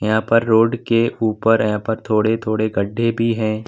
यहाँ पर रोड के ऊपर हैं पर थोड़े-थोड़े गड्ढे भी हैं।